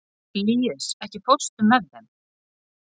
Líus, ekki fórstu með þeim?